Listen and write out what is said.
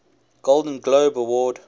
golden globe award